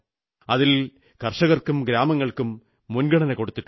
അതിൽ കർഷകർക്കും ഗ്രാമങ്ങൾക്കും മുൻഗണന കൊടുത്തിട്ടുണ്ട്